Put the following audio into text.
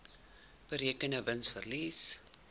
berekende wins verlies